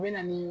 U bɛ na nii